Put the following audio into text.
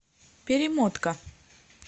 перемотка